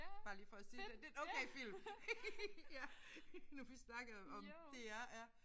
Bare lige for at sige at det er en okay film. Ja nu vi snakkede om DR ja